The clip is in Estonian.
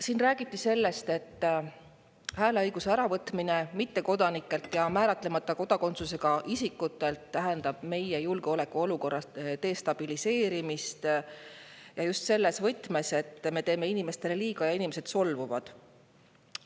Siin räägiti sellest, et hääleõiguse äravõtmine mittekodanikelt ja määratlemata kodakondsusega isikutelt tähendab meie julgeolekuolukorra destabiliseerimist ja just selles võtmes, et me teeme inimestele liiga ja inimesed solvuvad.